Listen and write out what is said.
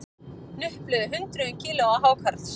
Hnupluðu hundruðum kílóa hákarls